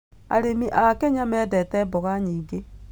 Arĩmi a Kenya mendete mboga nyingĩ.